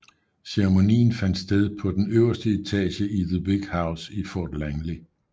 Ceremonien fandt sted på den øverste etage i The Big House i Fort Langley